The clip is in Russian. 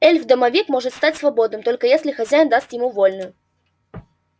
эльф-домовик может стать свободным только если хозяин даст ему вольную